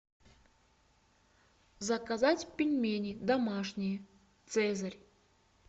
заказать пельмени домашние цезарь